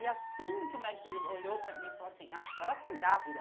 E assim que o médico, ele olhou para mim e falou assim, ah a senhora tá grávida.